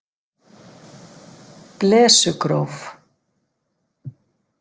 Blesugróf